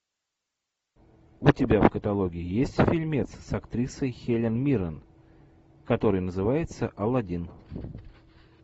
у тебя в каталоге есть фильмец с актрисой хелен миррен который называется алладин